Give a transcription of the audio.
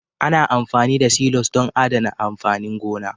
Ana amfani da silos don adana amfanin gona